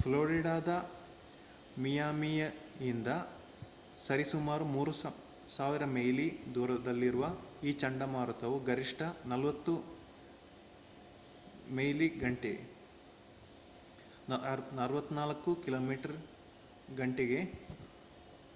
ಫ್ಲೋರಿಡಾದ ಮಿಯಾಮಿಯಿಂದ ಸರಿಸುಮಾರು 3,000 ಮೈಲಿ ದೂರದಲ್ಲಿರುವ ಈ ಚಂಡಮಾರುತವು ಗರಿಷ್ಠ 40 ಮೈ/ಗಂ 64 ಕಿಮೀ/ಗಂ